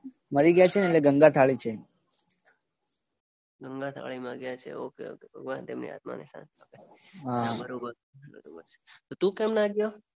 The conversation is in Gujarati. મરી ગયા છે ને એટલે ગંગાથાળી છે. ગંગાથાળી માં ગયા છે ઓક ભગવાન એમની આત્માને શાંતિ આપે. બરોબર તો તુ કેમ ના ગયો.